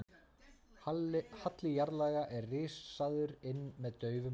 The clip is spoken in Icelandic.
Halli jarðlaga er rissaður inn með daufum línum.